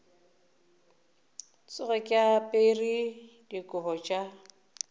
tsoge ke apere dikobo tša